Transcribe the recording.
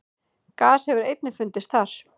gas hefur einnig fundist þar